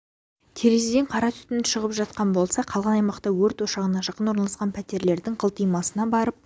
терезеден қара түтін шығып жатқан болса қалған аймақта өрт ошағына жақын орналасқан пәтерлердің қылтимасына барып